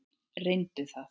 Reyndu það.